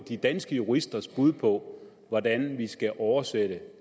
de danske juristers bud på hvordan vi skal oversætte